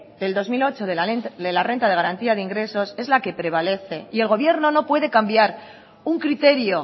del dos mil ocho de la renta de garantía de ingresos es la que prevalece y el gobierno no puede cambiar un criterio